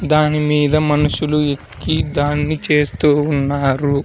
దానిమీద మనుషులు ఎక్కి దాన్ని చేస్తూ ఉన్నారు.